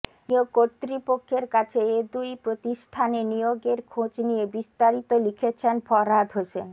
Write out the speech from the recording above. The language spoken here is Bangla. নিয়োগ কর্তৃপক্ষের কাছে এ দুই প্রতিষ্ঠানে নিয়োগের খোঁজ নিয়ে বিস্তারিত লিখেছেন ফরহাদ হোসেন